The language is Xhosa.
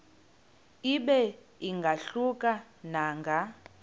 ibe ingahluka nanga